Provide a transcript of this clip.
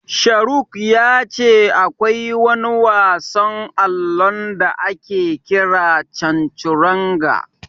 Sharuk ya ce akwai wani wasan allon da ake kira Canturanga.